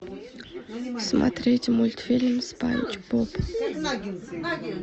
смотреть мультфильм спанч боб